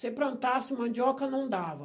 Se plantasse mandioca não dava.